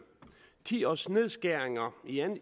ti års nedskæringer